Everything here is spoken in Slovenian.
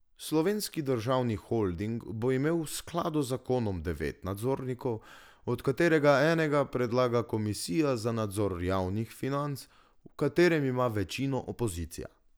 Slovenski državni holding bo imel v skladu z zakonom devet nadzornikov, od katerega enega predlaga komisija za nadzor javnih financ, v kateri ima večino opozicija.